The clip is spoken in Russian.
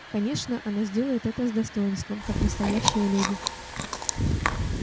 конечно она сделает это с достоинством как настоящая леди